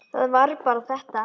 Var það bara þetta?